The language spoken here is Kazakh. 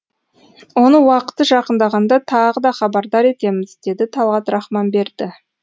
оны уақыты жақындағанда тағы да хабардар етеміз деді талғат рахманберді